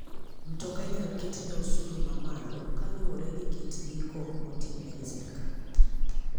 Mtoka inyal ketne osuru mamalo kaluwore gi kit ndiko motimne gi sirkal.